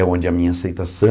É onde a minha aceitação